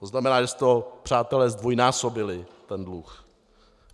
To znamená, že jste ho, přátelé, zdvojnásobili, ten dluh.